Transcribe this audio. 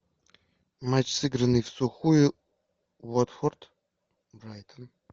матч сыгранный всухую уотфорд брайтон